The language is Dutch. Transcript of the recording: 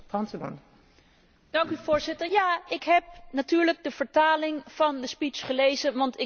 Ja, ik heb natuurlijk de vertaling van de toespraak gelezen, want ik ben het Hongaars niet machtig.